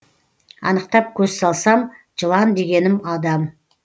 анықтап көз салсам жылан дегенім адам